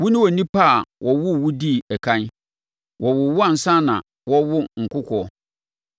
“Wone onipa a wɔwoo wo dii ɛkan? Wɔwoo wo ansa na wɔrewo nkokoɔ?